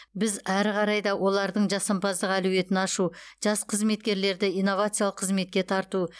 біз әрі қарай да олардың жасампаздық әлеуетін ашу жас қызметкерлерді инновациялық қызметке тарту